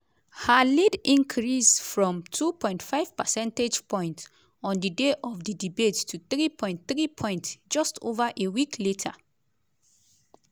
her lead increase from 2.5 percentage points on di day of di debate to 3.3 points just ova a week later.